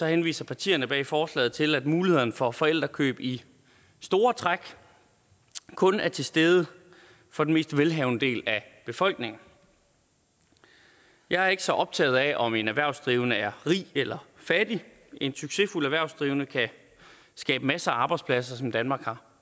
henviser partierne bag forslaget til at mulighederne for forældrekøb i store træk kun er til stede for den mest velhavende del af befolkningen jeg er ikke så optaget af om en erhvervsdrivende er rig eller fattig en succesfuld erhvervsdrivende kan skabe masser af arbejdspladser som danmark har